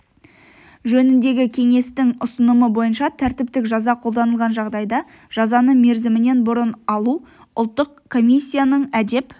жөніндегі кеңестің ұсынымы бойынша тәртіптік жаза қолданылған жағдайда жазаны мерзімінен бұрын алу ұлттық комиссияның әдеп